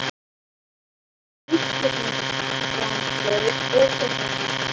Hvers konar vitleysisgangur er þetta nú?